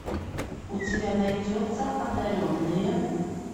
у тебя найдется одаренные